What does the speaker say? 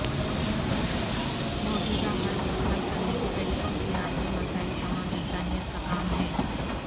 موجودہ حل اور حل کرنے کے طریقوں کی عالمی مسائل تمام انسانیت کا کام ہیں